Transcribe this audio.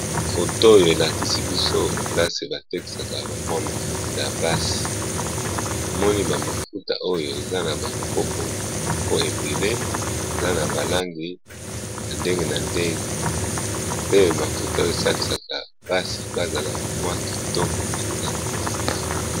Foto oyo elakisi biso place batekaka mafuta ya basi namoni mafuta eza na langi ebele mafuta oyo esalisaka basi po bazala kitoko.